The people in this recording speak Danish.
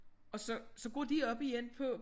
Og så så går de op igen på